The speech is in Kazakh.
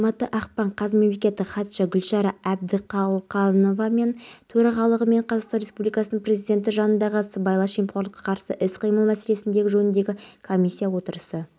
айта кетейік бұған дейін біз үш тәулік бойы ашық теңізде қалып аман қалған жастағы абылай сүлейменов